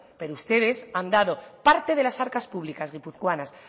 pero ustedes han dado parte de las arcas públicas guipuzcoanas